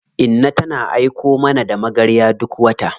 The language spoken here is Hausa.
Inna tana aiko mana da magarya duk wata.